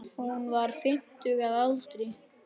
Hún var fimmtug að aldri.